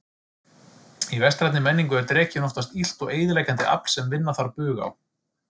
Í vestrænni menningu er drekinn oftast illt og eyðileggjandi afl sem vinna þarf bug á.